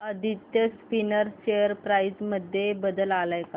Aditya spinners share price मध्ये बदल आलाय का